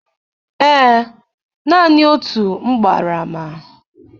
Ee, naanị otu m gbara ama.